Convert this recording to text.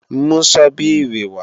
Mú Sọ́bíìrì wa!